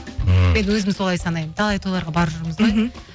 м мен өзім солай санаймын талай тойларға барып жүрміз ғой мхм